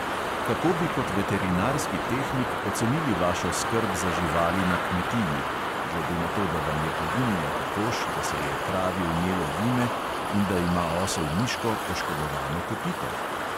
Kako bi kot veterinarski tehnik ocenili vašo skrb za živali na kmetiji (glede na to, da vam je poginila kokoš, da se je kravi vnelo vime in da ima osel miško poškodovano kopito)?